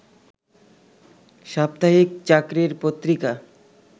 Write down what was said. সাপ্তাহিক চাকরির পত্রিকা